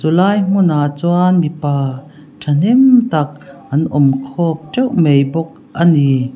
chu lai hmunah chuan mipa tha hnem tak an awm khawm teuh mai bawk a ni.